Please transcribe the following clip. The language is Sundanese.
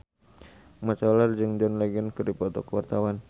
Mat Solar jeung John Legend keur dipoto ku wartawan